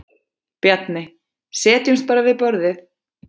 Bjarni: Setjumst bara við borðið.